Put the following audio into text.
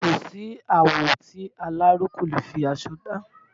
Kò sí àwọ̀ tí aláró kò leè fi aṣọ dá